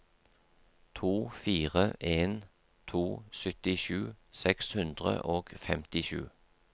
to fire en to syttisju seks hundre og femtisju